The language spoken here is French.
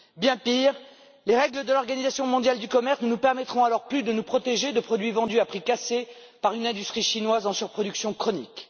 Bien pire, les règles de l'Organisation mondiale du commerce ne nous permettront alors plus de nous protéger de produits vendus à prix cassés par une industrie chinoise en surproduction chronique.